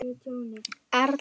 Erla Elín.